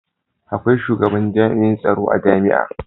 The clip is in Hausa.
akwai shugaban jami'in tsaro a jami'a